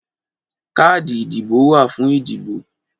Káàdì ìdìbò wà fún ìdìbò